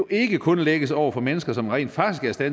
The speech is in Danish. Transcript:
ikke kun lægges over på mennesker som rent faktisk er